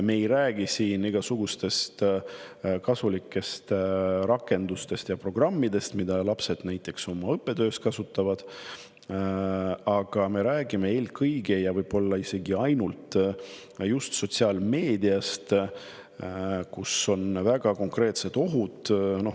Me ei räägi siin igasugustest kasulikest rakendustest ja programmidest, mida lapsed näiteks õppetöös kasutavad, me räägime eelkõige ja võib-olla isegi ainult just sotsiaalmeediast, kus on väga konkreetsed ohud.